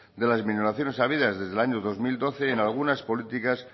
de las minoraciones habidas desde el año dos mil doce en algunas políticas